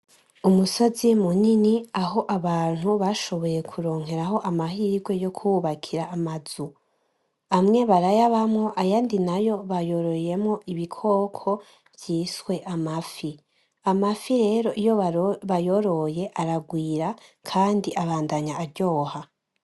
Umusozi munini aho abantu bashoboye kuronkeraho amahirwe yokuhubakira amazu, amwe barayabamwo ayandi nayo bayororeyemwo ibikoko vyiswe amafi ,amafi rero iyo bayoroye aragwira kandi abandanya aryoha.